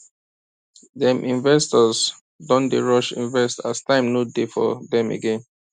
dem investors don dey rush invest as time no dey for them again